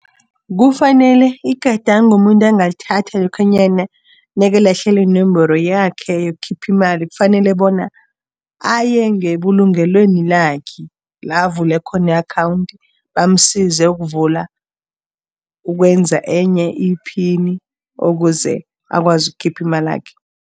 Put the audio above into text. Kufanele, igadango umuntu anaglithatha lokhanyana nakalahlekelwe yinomboro yakhe yokukhipha imali, kufanele bona aye ngebulungelweni lakhe la avule khona i-akhawundi, bamsize ukuvula, ukwenza enye iphini ukuze akwazi ukukhipha imalakhe.